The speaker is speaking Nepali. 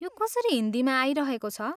यो कसरी हिन्दीमा आइरहेको छ?